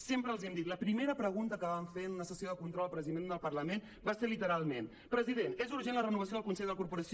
sempre els hem dit la primera pregunta que vam fer en una sessió de control al president del parlament va ser literalment president és urgent la renovació del consell de la corporació